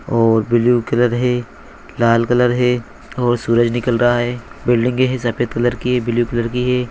और blue colour है लाल कलर है और सूरज निकल रहा है बिल्डिंग है सफेद कलर की ब्लू कलर की है।